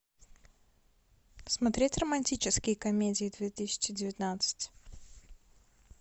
смотреть романтические комедии две тысячи девятнадцать